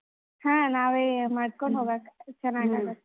ಹಾ ನಾವೇ ಮಾಡ್ಕೊಂಡ್ .